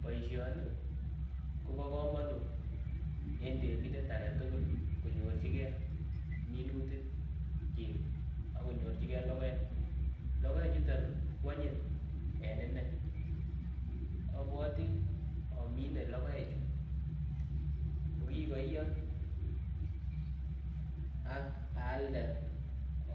Boishoni Kobo komonut en temindet aketukul konyorchigee minutik chik ek konyorchigee lokoek, lokoek chutok kwonyin en inee, obwotii omine lokoek chuu kokikoiyo ak aalde